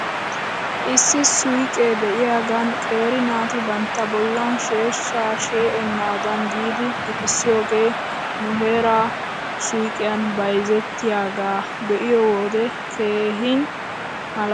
Issi suyqee de'iyaagan qeeri naati bantta bollan sheeshshaa shee'enaadan giidi gixissiyoogee nu heeraa suyqqiyan bayzettiyaagaa be'iyoo wode keehi malaales .